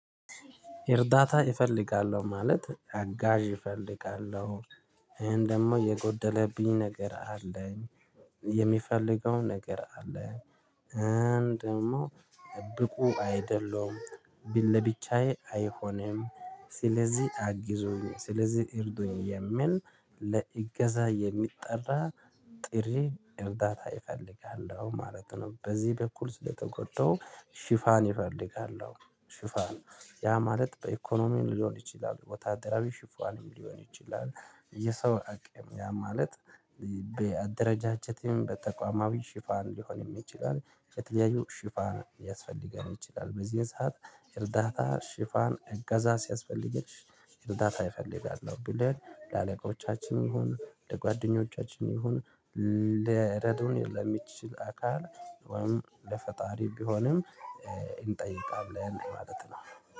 እርዳታ እፈልጋለው ማለት አጋዥ እፈልጋለሁ ይሄን ደግሞ የጎደለብኝ ነገር አለኝ የሚፈልገው ነገር አለኝ እንድ ደግሞ ብቁ አይደሉም ቢል ለብቻዬ አይሆንም ስለዚህ አግዙኝ ስለዚህ እርዱኝ የሚል ለእገዛ የሚጠራ ጥሪ እርዳታ አፈልጋለው ማለት ነው በዚህ በኩል ስለተጎዳው ሽፋን እፈልጋለሁ ሽፋን ያ ማለት በኢኮኖሚን ሊሆን ይችላል ወታደራዊ ሽፏንም ሊሆን ይችላል። የሰው አቅም ያ ማለት በአደረጃጀትም በተቋማዊ ሽፋን ሊሆንም ይችላል የተለያዩ ሽፋን ሊያስፈልገን ይችላል በዚህ ሰዓት እርዳታ ሽፋን እገዛ ሲያስፈልግሽ እርዳታ አፈልጋለው ብለን ለአለቆቻችን ይሁን ለጓደኞቻችን ይሁን ለረዶን የለም የሚችል አካል ወይም ለፈጣሪ ቢሆንም እንጠይቃለን ማለት ነው።